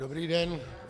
Dobrý den.